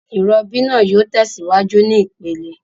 Ìrobí naa yio tèsíwájú ní ìpele